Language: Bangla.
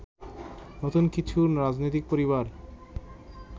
নতুন কিছু রাজনৈতিক পরিবার